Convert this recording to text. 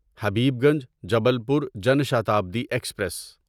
Habibganj Jabalpur Jan Shatabdi express